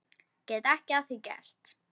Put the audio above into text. Get ekki að því gert.